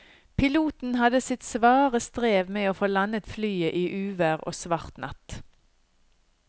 Piloten hadde sitt svare strev med å få landet flyet i uvær og svart natt.